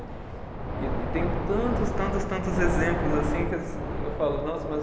E e tenho tantos, tantos, tantos exemplos assim que eu falo, nossa, mas